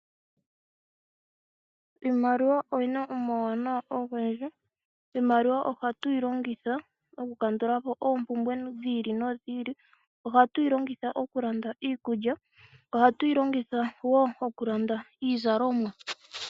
Iimaliwa oyina omauwanawa ogendji. Iimaliwa ohatuyi longitha oku kandulapo oompumbwe dhi ili nodhi ili. Ohatu yi longitha oku landa iikulya. Ohatu yi longitha wo okulanda iizalomwa.